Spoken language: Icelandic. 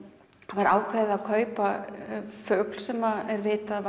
það var ákveðið að kaupa fugl sem er vitað að